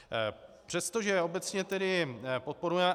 Přestože obecně tedy podporujeme...